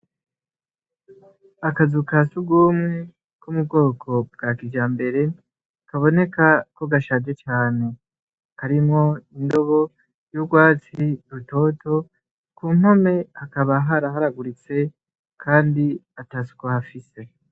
Akazu ka surwumwe ko mu bwoko bwa kijambere kaboneka ko gashaje cane. Karimwo indobo y'urwatsi rutoto, ku mpome hakaba haraharaguritse kandi atasuku hafise.